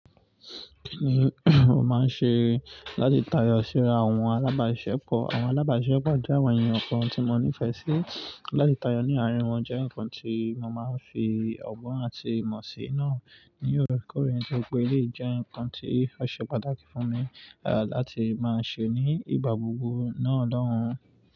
Kí ni mo máa ń ṣe láti tayọ síra àwọn alábàásiṣepọ̀? Àwọn alábàásiṣepọ̀ jẹ́ àwọn ènìyàn kan tí mo nífẹ̀ẹ́ sí. Láti tayọ ní àárín wọn jẹ́ ǹkan tí mo máa ń fi ọgbọ́n àti ìmọ̀ sí naá ní òorekoore ni toripe eleyìí jẹ́ ǹkan tí ó ṣe pàtàkì fún mi, à láti máa ṣe ní ìgbà gbogbo náà lọ́hùn.